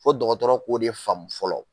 Fɔ dɔgɔtɔrɔ k'ole faamu fɔlɔ